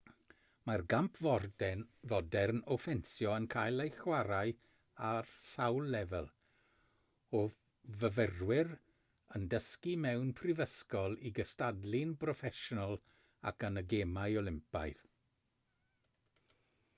mae'r gamp fodern o ffensio yn cael ei chwarae ar sawl lefel o fyfyrwyr yn dysgu mewn prifysgol i gystadlu'n broffesiynol ac yn y gemau olympaidd